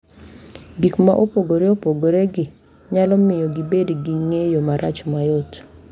Gik ma opogore opogoregi nyalo miyo gibed gi ng’eyo marach mayot,